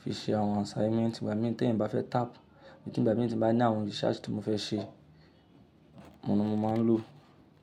fi ṣe àwọn assignment, ìgbà mí, tí eyan bá fẹ́ tap, abi ìgbà mí tí mo bá ní àwọn research tí mo fẹ́ ṣe, òun ni mo máa ń lò.